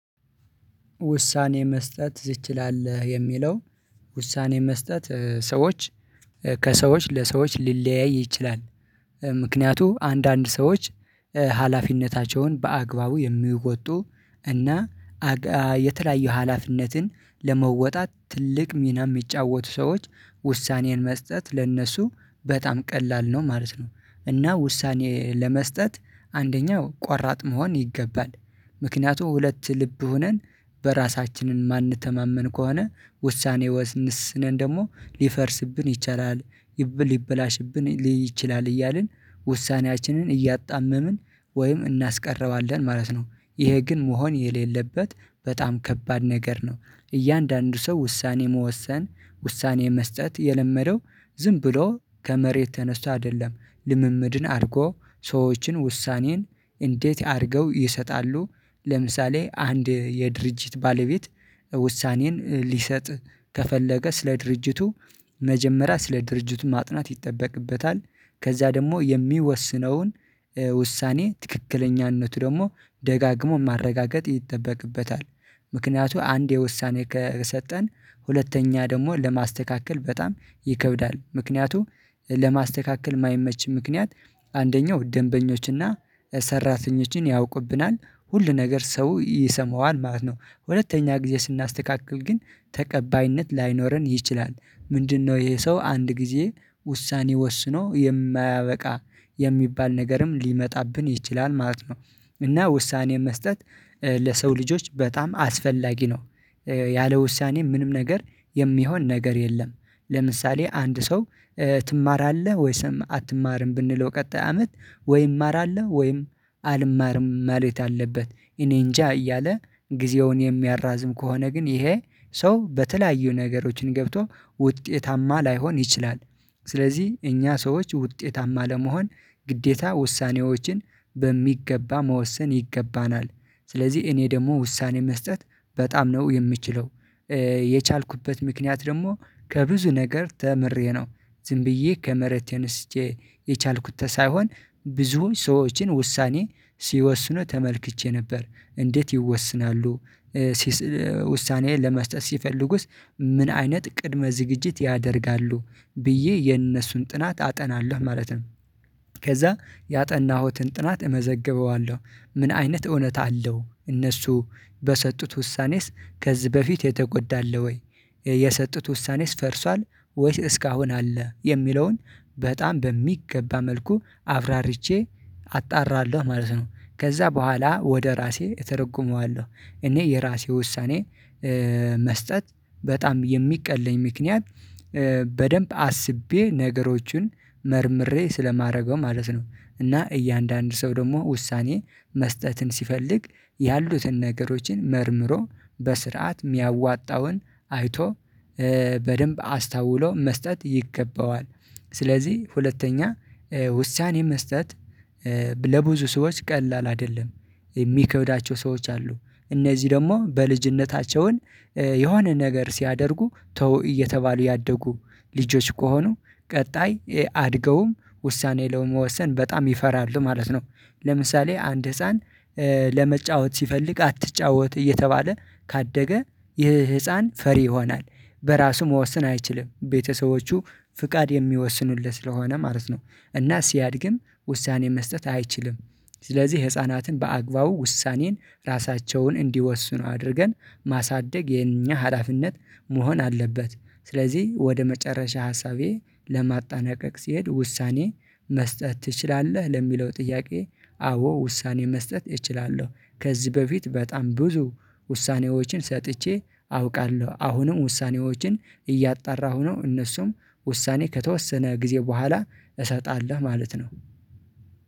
ውሳኔ መስጠት ትችላል የሚለው ውሳኔ መስጠት ሰዎች ከሰዎች ለሰዎች ሊለያይ ይችላል። ምክንያቱም አንዳንድ ሰዎች ሀላፊነታቸውን በአግባቡ የሚወጡ እና የተለያዩ ሀላፊነትን ለመወጣት ትልቅ ሚና የሚጫወቱ ሰዎች ውሳኔን መስጠት ለእነሱ በጣም ቀላል ነው ማለት ነው። እና ውሳኔ ለመስጠት አንደኛው ቆራጥ መሆን ይገባል ምክንያቱም ሁለት ልብ ሆነን በራሳችንን ማንተማመን ከሆነ ውሳኔ ወስነን ደግሞ ሊፈርስብን ይቻላል። ሊበላሽብን ይችላል እያልን ውሳኔያችንን እያጣመምን ወይም እናስቀረዋለን ማለት ነው። ይሄ ግን መሆን የሌለበት በጣም ከባድ ነገር ነው። እያንዳንዱ ሰው ውሳኔ መወሰን ውሳኔ መስጠት የለመደው ዝም ብሎ ከመሬት ተነስቶ አይደለም። ልምምድን አድርጎ ሰዎችን ውሳኔን እንዴት አድርገው ይሰጣሉ? ለምሳሌ አንድ የድርጅት ባለቤት ውሳኔን ሊሰጥ ከፈለገ ስለ ድርጅቱ መጀመሪያ ስለ ድርጅቱ ማጥናት ይጠበቅበታል። ከዛ ደግሞ የሚወስነውን ውሳኔ ትክክለኛነቱ ደግሞ ደጋግሞ ማረጋገጥ ይጠበቅበታል። ምክንያቱ አንዴ ውሳኔ ከሰጠን ሁለተኛ ደግሞ ለማስተካከል በጣም ይከብዳል። ምክንያቱም ለማስተካከል የማይመች ምክንያት አንደኛው ደንበኞችና ሰራተኞችን ያውቁብናል ሁሉ ነገር ሰው ይሰማዋል ማለት ነው ሁለተኛ ጊዜ ስናስተካክል ግን ተቀባይነት ላይኖረን ይችላል። ምንድነው ይሄ ሰው አንድ ጊዜ ውሳኔ ወስኖ የማያበቃ የሚባል ነገርም ሊመጣብን ይችላል ማለት ነው። እና ውሳኔ መስጠት ለሰው ልጆች በጣም አስፈላጊ ነው። ያለ ውሳኔ ምንም ነገር የሚሆን ነገር የለም። ለምሳሌ አንድ ሰው ትማራለህ ወይስ አትማርም? ብንለው ቀጣይ አመት ወይ እማራለሁ ወይም አልማርም ማለት አለበት። እኔ እንጃ እያለ ጊዜውን የሚያራዝም ከሆነ ግን ይሄ ሰው በተለያዩ ነገሮችን ገብቶ ውጤታማ ላይሆን ይችላል። ስለዚህ እኛ ሰዎች ውጤታማ ለመሆን ግዴታ ውሳኔዎችን በሚገባ መወሰን ይገባናል። ስለዚህ እኔ ደግሞ ውሳኔ መስጠት በጣም ነው የምችለው። የቻልኩበት ምክንያት ደግሞ ከብዙ ነገር ተምሬ ነው። ዝም ብዬ ከመሬት ተነስቼ የቻልኩት ሳይሆን ብዙ ሰዎችን ውሳኔ ሲወስኑ ተመልክቼ ነበር። እንዴት ይወስናሉ? ለመስጠት ሲፈልጉስ? ምን አይነት ቅድመ ዝግጅት ያደርጋሉ? ብዬ የነሱን ጥናት አጠናለሁ ማለት ነው። ከዛ ያጠናሁትን ጥናት እመዘግበዋለሁ። ምን አይነት እውነት አለው እነሱ በሰጡት ውሳኔስ ከዚህ በፊት የተጎዳ አለ ወይ? የሰጡት ውሳኔስ ፈርሷል። ወይስ እስካሁን አለ የሚለውን በጣም በሚገባ መልኩ አብራርቼ አጣራለሁ። ማለት ነው ከዛ በኋላ ወደ ራሴ እተረጉመዋለሁ እኔ የራሴ ውሳኔ መስጠት በጣም የሚቀለኝ ምክንያት በደንብ አስቤ ነገሮችን መርምሬ ስለማደርገው ማለት ነው። እና እያንዳንዱ ሰው ደግሞ ውሳኔ መስጠትን ሲፈልግ ያሉትን ነገሮችን መርምሮ በስርዓት የሚያዋጣውን አይቶ በደንብ አስታውሎ መስጠት ይገባዋል። ስለዚህ ሁለተኛ ውሳኔ መስጠት ለብዙ ሰዎች ቀላል አይደለም። የሚከውዳቸው ሰዎች አሉ እነዚህ ደግሞ በልጅነታቸው የሆነ ነገር ሲያደርጉ ተው እየተባሉ ያደጉ ልጆች ከሆኑ ቀጣይ አድገውም ውሳኔ ለመወሰን በጣም ይፈራሉ ማለት ነው። ለምሳሌ አንድ ህፃን ለመጫወት ሲፈልግ አትጫወት እየተባለ ካደገ ይህ ህፃን ፈሪ ይሆናል። በራሱ መወሰን አይችልም ቤተሰቦቹ ፍቃድ የሚወስኑለት ስለሆነ ማለት ነው። እና ሲያድግም ውሳኔ መስጠት አይችልም። ስለዚህ ህፃናትን በአግባቡ ውሳኔን ራሳቸውን እንዲወስኑ አድርገን ማሳደግ የኛ ሀላፊነት መሆን አለበት። ስለዚህ ወደ መጨረሻ ሀሳቤ ለማጣነቀቅ ሲሄድ ውሳኔ መስጠት ትችላለህ ለሚለው ጥያቄ አዎ ውሳኔ መስጠት እችላለሁ። ከዚህ በፊት በጣም ብዙ ውሳኔዎችን ሰጥቼ አውቃለሁ አሁንም ውሳኔዎችን እያጣራሁ ነው እነሱም ውሳኔ ከተወሰነ ጊዜ በኋላ እሰጣለሁ ማለት ነው